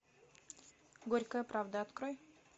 горькая правда открой